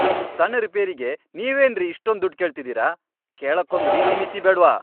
ಇಷ್ಟ್ ಸಣ್ಣ್ ರಿಪೇರಿಗೆ ನೀವೇನ್ರಿ ಇಷ್ಟೊಂದ್ ದುಡ್ಡ್ ಕೇಳ್ತಿದೀರ?! ಕೇಳಕ್ಕೊಂದ್ ರೀತಿನೀತಿ ಬೇಡ್ವಾ?!